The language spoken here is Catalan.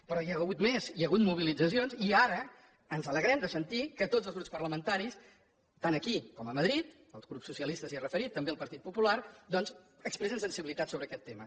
però hi ha hagut més hi ha hagut mobilitzacions i ara ens alegrem de sentir que tots els grups parlamentaris tant aquí com a madrid el grup socialista s’hi ha referit també el partit popular doncs expressen sensibilitat sobre aquest tema